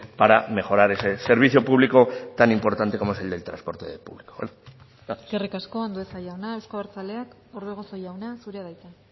para mejorar ese servicio público tan importante como es el del transporte público gracias eskerrik asko andueza jauna euzko abertzaleak orbegozo jauna zurea da hitza